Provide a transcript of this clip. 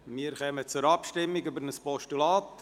Wir kommen zur Abstimmung über ein Postulat.